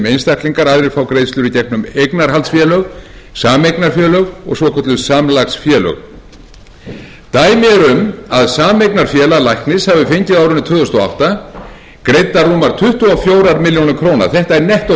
einstaklingar en aðrir frá greiðslur í gegnum eignarhaldsfélög sameignarfélög og svokölluð samlagsfélög dæmi eru um að sameignarfélag læknis hafi fengið á árinu tvö þúsund og átta greiddar rúmar tuttugu og fjórar milljónir króna þetta er nettógreiðsla viðkomandi læknir eða félag er